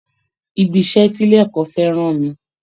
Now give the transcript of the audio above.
Ibi iṣẹ́ tí ilé ẹ̀kọ́ fẹ́ rán mi